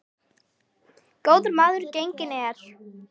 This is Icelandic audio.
Góður maður genginn er.